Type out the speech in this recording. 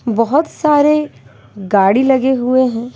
बहोत सारे गाड़ी लगे हुए हैं।